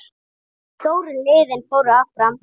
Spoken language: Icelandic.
Stóru liðin fóru áfram